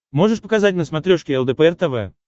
можешь показать на смотрешке лдпр тв